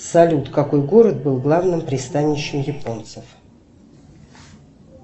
салют какой город был главным пристанищем японцев